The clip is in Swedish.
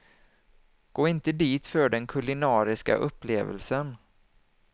Gå inte dit för den kulinariska upplevelsen.